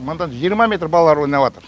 мындан жиырма метр балалар ойнабатыр